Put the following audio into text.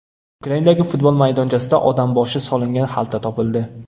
Ukrainadagi futbol maydonchasida odam boshi solingan xalta topildi.